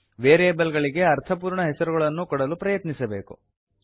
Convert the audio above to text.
variable ಗಳಿಗೆ ಅರ್ಥಪೂರ್ಣ ಹೆಸರುಗಳನ್ನು ಕೊಡಲು ಪ್ರಯತ್ನಿಸಬೇಕು